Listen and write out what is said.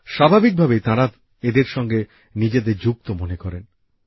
স্বাভাবিকভাবেই তাঁরা এঁদের সঙ্গে নিজেদের যুক্ত মনে করেন